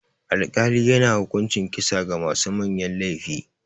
Alkali yana hukuncin kisa ga masu manyan laifi.